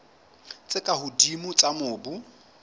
tse ka hodimo tsa mobu